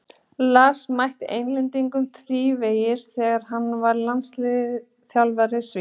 Lars mætti Englendingum þrívegis þegar hann var landsliðsþjálfari Svía.